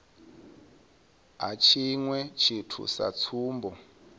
ha tshiṅwe tshithu sa tsumbo